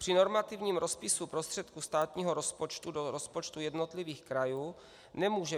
Při normativním rozpisu prostředků státního rozpočtu do rozpočtu jednotlivých krajů nemůže